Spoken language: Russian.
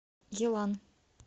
елан